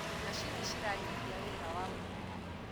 macinĩ ciranyihia wira wa moko